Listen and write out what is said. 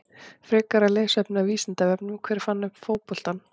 Frekara lesefni af Vísindavefnum: Hver fann upp fótboltann?